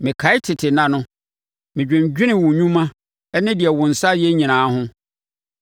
Mekae tete nna no; medwendwene wo nnwuma ne deɛ wo nsa ayɛ nyinaa ho.